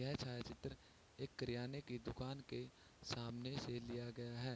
यह छायाचित्र एक किराने के दुकान के सामने से लिया गया है।